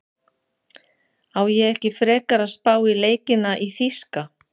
Á ég ekki frekar að spá í leikina í þýska?